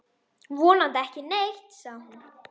Vonandi ekki neitt, sagði hún.